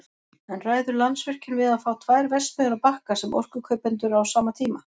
En ræður Landsvirkjun við að fá tvær verksmiðjur á Bakka sem orkukaupendur á sama tíma?